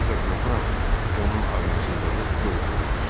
Ancaq qorxuram, onun ağılsızlığı yolxucu olsun.